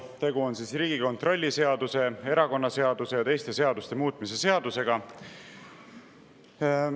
Tegu on Riigikontrolli seaduse, erakonnaseaduse ja teiste seaduste muutmise seadusega.